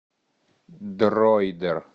дройдер